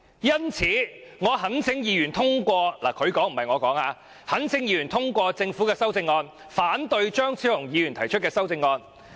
因此，我懇請議員通過"——是局長說的，不是我說的——"政府提出的《條例草案》，反對張超雄議員提出的修正案。